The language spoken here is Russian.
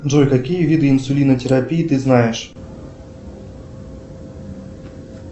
джой какие виды инсулинотерапии ты знаешь